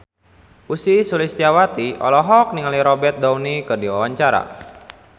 Ussy Sulistyawati olohok ningali Robert Downey keur diwawancara